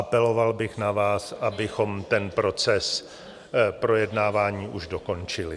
Apeloval bych na vás, abychom ten proces projednávání už dokončili.